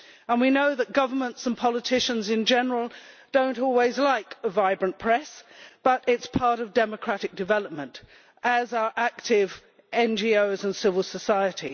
We know that governments and politicians in general do not always like a vibrant press, but it is part of democratic development, as are active NGOs and civil society.